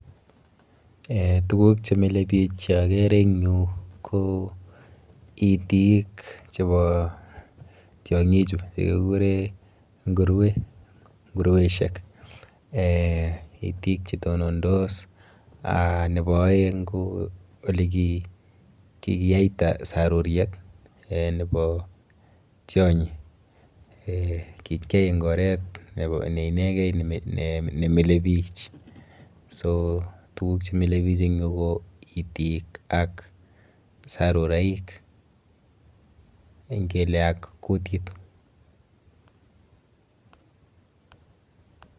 Eh tuguk chemile biich cheakere en yu ko itik chepo tiong'ichu chekekure nguruwet, nguruweshek. Eh itik chetonondos , nepo aeng ko olekikiyaita saruriet eh nepo tionyi. Kikyai en oret ne inekei nemile biich. So tuguk chemile biich en tu ko itik ak saruraik, nkeke ak kutit.